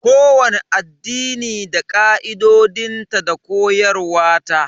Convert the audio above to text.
Kowani addini da ka'idojinta da koyarwa ta.